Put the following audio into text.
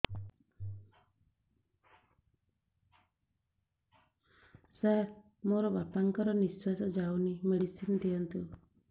ସାର ମୋର ବାପା ଙ୍କର ନିଃଶ୍ବାସ ଯାଉନି ମେଡିସିନ ଦିଅନ୍ତୁ